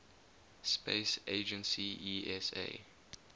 space agency esa